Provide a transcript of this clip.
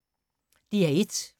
DR1